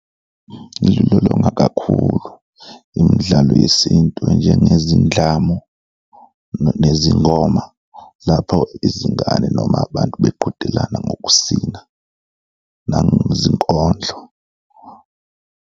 Ngilulolonga kakhulu, imidlalo yesintu enjengezindlamu nezingoma lapho izingane noma abantu beqhudelana ngokusina nangezinkondlo.